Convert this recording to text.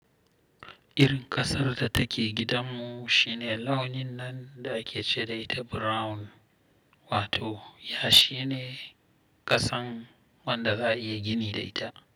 Irin ƙasar da take gidanmu shine launin nan da ake ce da ita brown wato ya shi ne kasan wanda za a iya gini da ita.